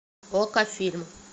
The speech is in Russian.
окко фильм